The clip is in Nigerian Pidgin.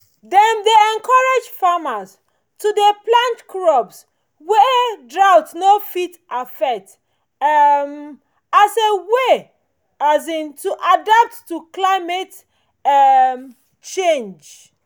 dem dey encourage farmers to dey plant crops wey drought no fit affect um as a way um to take adapt to climate um change